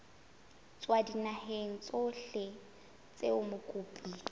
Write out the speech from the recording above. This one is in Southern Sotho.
tswa dinaheng tsohle tseo mokopi